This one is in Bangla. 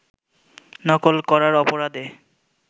নকল করার অপরাধে